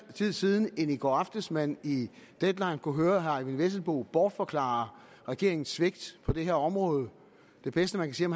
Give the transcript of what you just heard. tid siden end i går aftes at man i deadline kunne høre herre eyvind vesselbo bortforklare regeringens svigt på det her område det bedste man kan